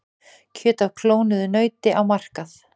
Kjöt af klónuðu nauti á markað